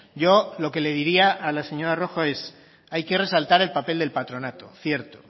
yo lo que le diría a la señora rojo es hay que resaltar el papel del patronato cierto